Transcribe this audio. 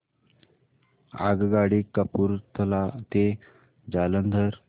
आगगाडी कपूरथला ते जालंधर